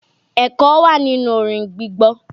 Ẹ̀kọ́ wà nínú orin gbígbọ́.